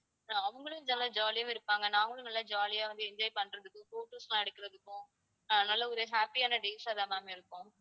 அஹ் அவங்களும் ஜா~ ஜாலியா இருப்பாங்க நாங்களும் நல்லா ஜாலியா வந்து enjoy பண்றதுக்கும் photos எல்லா எடுக்குறதுக்கும் அஹ் நல்ல ஒரு happy ஆன days ஆதான் ma'am இருக்கும்